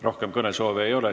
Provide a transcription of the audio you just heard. Rohkem kõnesoove ei ole.